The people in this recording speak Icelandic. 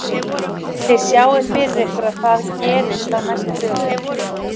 Lillý: Þið sjáið fyrir ykkur að það gerist á næstu dögum?